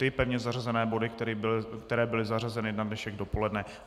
Ty pevně zařazené body, které byly zařazeny na dnešek dopoledne.